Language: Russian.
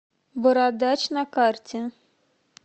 бородач на карте